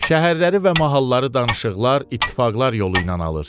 Şəhərləri və mahalları danışıqlar, ittifaqlar yolu ilə alır.